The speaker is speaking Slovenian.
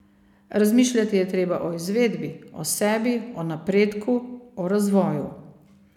Razmišljati je treba o izvedbi, o sebi, o napredku, o razvoju.